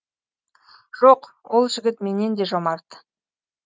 жоқ ол жігіт менен де жомарт